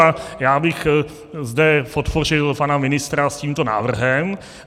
A já bych zde podpořil pana ministra s tímto návrhem.